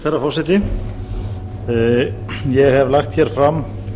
herra forseti ég hef lagt fram